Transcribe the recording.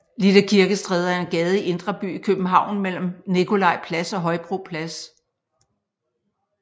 Lille Kirkestræde er en gade i Indre By i København mellem Nikolaj Plads og Højbro Plads